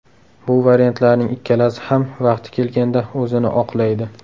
Bu variantlarning ikkalasi ham vaqti kelganda o‘zini oqlaydi.